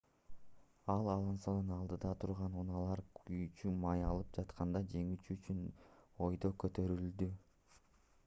ал алонсодон алдыда турган унаалар күйүүчү май алып жатканда жеңүү үчүн өйдө көтөрүлдү